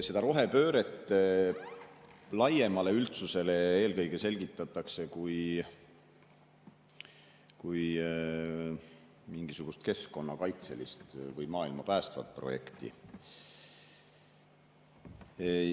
Seda rohepööret laiemale üldsusele selgitatakse eelkõige kui mingisugust keskkonnakaitselist või maailma päästvat projekti.